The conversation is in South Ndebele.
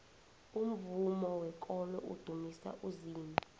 umvumo wekolo udumisa uzimu